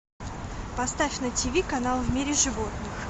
поставь на тиви канал в мире животных